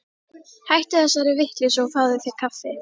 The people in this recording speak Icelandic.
Hættu þessari vitleysu og fáðu þér kaffi.